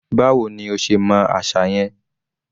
Báwo ní o ṣe mọ àṣà yẹn?